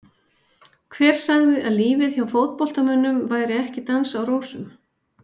Hver sagði að lífið hjá fótboltamönnum væri ekki dans á rósum?